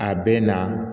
A bɛ na